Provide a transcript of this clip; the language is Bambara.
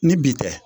Ni bi tɛ